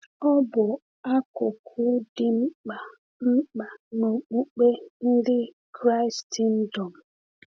Ọ bụ akụkụ dị mkpa mkpa nke okpukpe ndị Kraịstndọm.